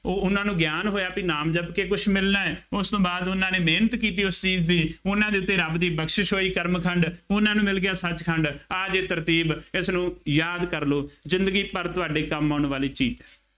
ਉਹ ਉਹ ਉਹਨਾ ਨੂੰ ਗਿਆਨ ਹੋਇਆ ਬਈ ਨਾਮ ਜਪ ਕੇ ਕੁੱਛ ਮਿਲਣਾ ਹੈ, ਉਸ ਤੋਂ ਬਾਅਦ ਉਹਨਾ ਨੇ ਮਿਹਨਤ ਕੀਤੀ, ਉਸ ਚੀਜ਼ ਦੀ, ਉਹਨਾ ਦੇ ਉੱਤੇ ਰੱਬ ਦੀ ਬਖਸ਼ਿਸ਼ ਹੋਈ, ਕਰਮ ਖੰਡ, ਉਹਨਾ ਨੂੰ ਮਿਲ ਗਿਆ ਸੱਚ ਖੰਡ, ਆ ਜੇ ਤਰਤੀਬ, ਇਸਨੂੰ ਯਾਦ ਕਰ ਲਉ, ਜ਼ਿੰਦਗੀ ਭਰ ਤੁਹਾਡੇ ਕੰਮ ਆਉਣ ਵਾਲੀ ਚੀਜ਼